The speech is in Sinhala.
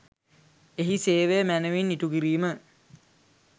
එහි සේවය මැනවින් ඉටු කිරීම